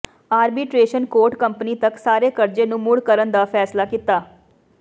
arbitration court company ਤੱਕ ਸਾਰੇ ਕਰਜ਼ੇ ਨੂੰ ਮੁੜ ਕਰਨ ਦਾ ਫੈਸਲਾ ਕੀਤਾ